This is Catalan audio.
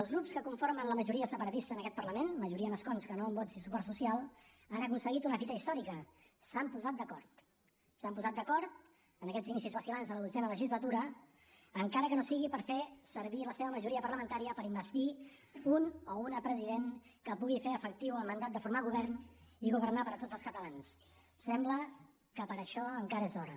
els grups que conformen la majoria separatista en aquest parlament majoria en escons que no en vots i suport social han aconseguit una fita històrica s’han posat d’acord s’han posat d’acord en aquest inicis vacil·lants de la dotzena legislatura encara que no sigui per fer servir la seva majoria parlamentària per investir un o una president que pugui fer efectiu el mandat de formar govern i governar per a tots els catalans sembla que per a això encara és d’hora